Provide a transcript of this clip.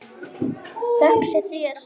Þökk sé þér.